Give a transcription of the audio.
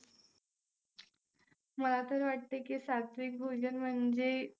मला तर वाटते की सात्विक भोजन म्हणजे